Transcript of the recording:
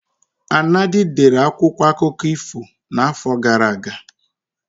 Anadi dere akwụkwọ akụkọ ifo n'afọ gara aga.